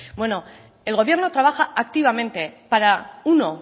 bueno el gobierno trabaja activamente para uno